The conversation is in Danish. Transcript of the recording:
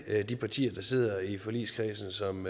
de partier der sidder i forligskredsen som